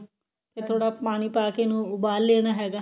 ਫੇਰ ਥੋੜਾ ਪਾਣੀ ਪਾਕੇ ਇਹਨੂੰ ਉਬਾਲ ਲੈਣਾ ਹੈਗਾ